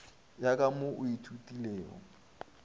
ya ka mo o ithutilego